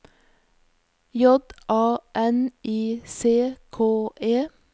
J A N I C K E